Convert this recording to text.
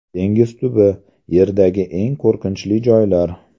Dengiz tubi Yerdagi eng qo‘rqinchli joylar.